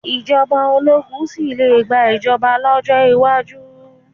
Ìjọba ológun sì le gba ìjọba lọ́jọ́ iwájú.